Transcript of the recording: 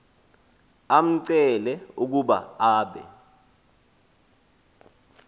amcele ukuba abe